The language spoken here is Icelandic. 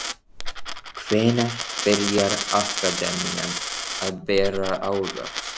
Hvenær byrjar akademían að bera ávöxt?